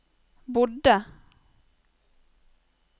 bodde